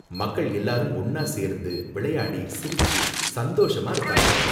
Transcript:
மக்கள் எல்லாரும் ஒன்னா சேர்ந்து விளையாடி சிரிச்சு சந்தோஷமா இருப்பாங்க.